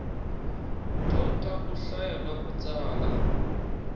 dyondza ku hlaya na ku tsala